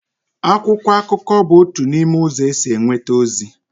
akwụkwọ akụkọ bụ otu n'ime ụzọ e si enweta ozi